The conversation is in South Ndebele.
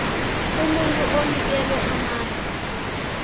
umuntu onikelwe amandla